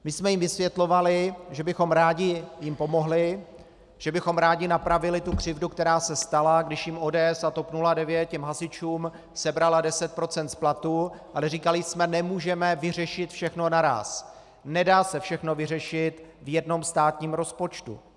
My jsme jim vysvětlovali, že bychom jim rádi pomohli, že bychom rádi napravili tu křivdu, která se stala, když jim ODS a TOP 09, těm hasičům, sebrala 10 % z platu, ale říkali jsme: Nemůžeme vyřešit všechno naráz, nedá se všechno vyřešit v jednom státním rozpočtu.